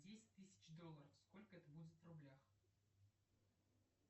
десять тысяч долларов сколько это будет в рублях